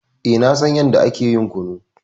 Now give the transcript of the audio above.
Eh, na san yanda ake ƴin kunu.